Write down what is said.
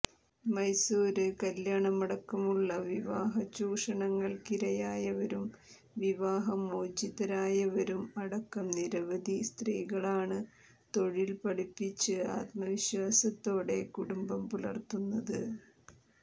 മൈസൂര് കല്യാണമടക്കമുള്ള വിവാഹ ചൂഷണങ്ങള്ക്കിരയായവരും വിവാഹമോചിതരായവരും അടക്കം നിരവധി സ്ത്രീകളാണ് തൊഴില്പഠിച്ച് ആത്മവിശ്വാസത്തോടെ കുടുംബം പുലര്ത്തുന്നത്